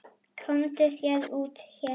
Komdu þér út héðan!